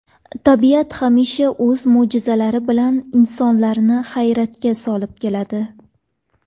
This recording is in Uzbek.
Tabiat hamisha o‘z mo‘jizalari bilan insonlarni hayratga solib keladi.